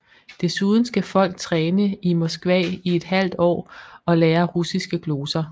Desuden skal folk træne i Moskva i et halvt år og lære russiske gloser